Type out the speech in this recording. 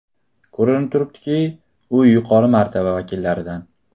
Ko‘rinib turibdiki, u yuqori martaba vakillaridan.